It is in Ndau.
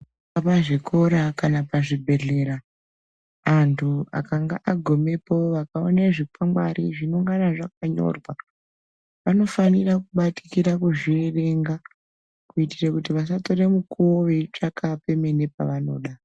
Pangava pazvikora kana pazvibhedhlera andu akanga agumepo akaone zvikwangati zvinokonge zvakanyorwa anofanira kubatikira kuzviverenga kuitire kuti vasatore nguva veyitsvaka pemene pavanoda.